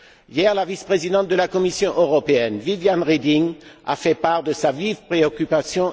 Hier, la vice présidente de la Commission européenne, Viviane Reding, a fait part de sa vive préoccupation.